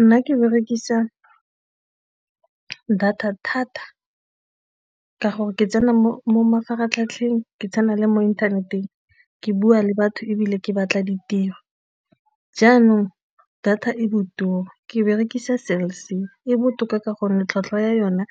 Nna ke berekisa data thata ka gore ke tsena mo mafaratlhatlheng, ke tsena le mo inthaneteng ke bua le batho ebile ke batla ditiro. Jaanong data e botoka ke berekisa Cell C, data e botoka ka gonne tlhwatlhwa ya yona